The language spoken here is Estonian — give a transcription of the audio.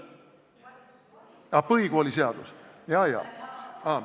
Ah põhikooliseadus, jaa-jaa.